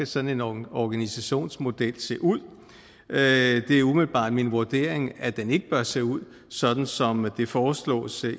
sådan en organisationsmodel skal se ud det er umiddelbart min vurdering at den ikke bør se ud sådan som det foreslås